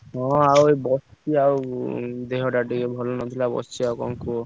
ହଁ ଆଉ ବସିଛି ଆଉ ଦେହ ଟା ଟିକେ ଭଲ ନଥିଲା ବସିଛି ଆଉ କଣ କୁହ?